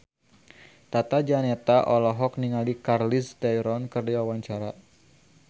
Tata Janeta olohok ningali Charlize Theron keur diwawancara